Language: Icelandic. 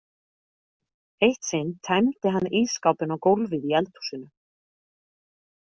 Eitt sinn tæmdi hann ísskápinn á gólfið í eldhúsinu.